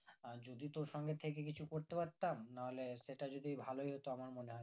আর যদি তোর সঙ্গে থেকে কিছু করতে পারতাম নাহলে সেটা যদি ভালোই হতো আমার মনে হয়